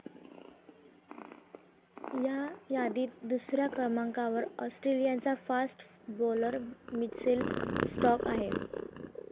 या यादीत दुसऱ्या क्रमांकावर ऑस्ट्रेलियाचा फास्ट बॉलर मिचेल स्टार्क आहे.